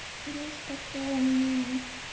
есть такое аниме